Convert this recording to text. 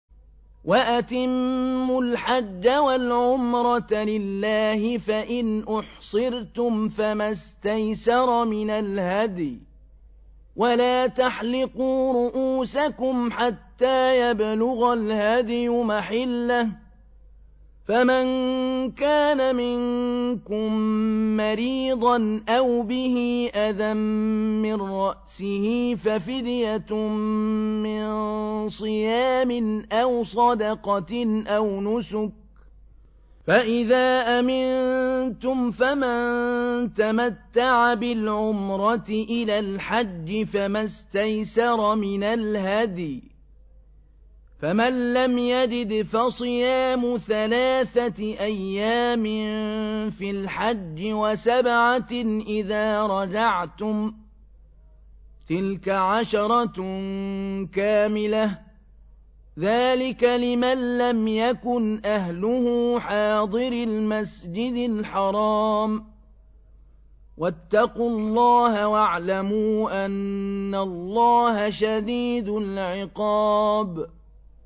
وَأَتِمُّوا الْحَجَّ وَالْعُمْرَةَ لِلَّهِ ۚ فَإِنْ أُحْصِرْتُمْ فَمَا اسْتَيْسَرَ مِنَ الْهَدْيِ ۖ وَلَا تَحْلِقُوا رُءُوسَكُمْ حَتَّىٰ يَبْلُغَ الْهَدْيُ مَحِلَّهُ ۚ فَمَن كَانَ مِنكُم مَّرِيضًا أَوْ بِهِ أَذًى مِّن رَّأْسِهِ فَفِدْيَةٌ مِّن صِيَامٍ أَوْ صَدَقَةٍ أَوْ نُسُكٍ ۚ فَإِذَا أَمِنتُمْ فَمَن تَمَتَّعَ بِالْعُمْرَةِ إِلَى الْحَجِّ فَمَا اسْتَيْسَرَ مِنَ الْهَدْيِ ۚ فَمَن لَّمْ يَجِدْ فَصِيَامُ ثَلَاثَةِ أَيَّامٍ فِي الْحَجِّ وَسَبْعَةٍ إِذَا رَجَعْتُمْ ۗ تِلْكَ عَشَرَةٌ كَامِلَةٌ ۗ ذَٰلِكَ لِمَن لَّمْ يَكُنْ أَهْلُهُ حَاضِرِي الْمَسْجِدِ الْحَرَامِ ۚ وَاتَّقُوا اللَّهَ وَاعْلَمُوا أَنَّ اللَّهَ شَدِيدُ الْعِقَابِ